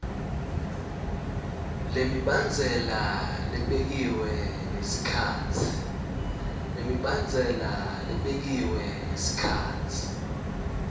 lemibandzela lebekiwe ngesikhatsi